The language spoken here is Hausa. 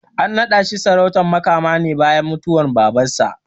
An naɗa shi sarautar Makama ne bayan mutuwar Babansa.